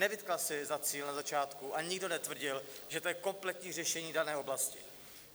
Nevytkla si za cíl na začátku, a nikdo netvrdil, že to je kompletní řešení dané oblasti.